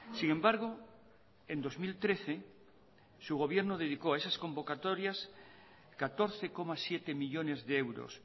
sin embargo en dos mil trece su gobierno dedicó a esas convocatorias catorce coma siete millónes de euros